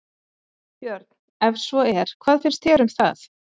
Björn: Ef svo er, hvað finnst þér um það?